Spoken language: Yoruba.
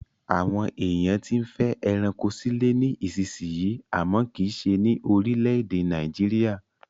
Àwọn èèyàn tí ń fẹ́ ẹranko sílé ní ìsisìyí àmọ́ kìí se ní orílẹ̀-èdè Nàìjíríà